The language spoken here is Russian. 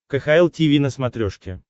кхл тиви на смотрешке